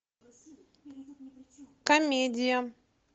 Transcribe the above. комедия